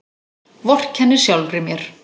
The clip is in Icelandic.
Vorkenni sjálfri mér.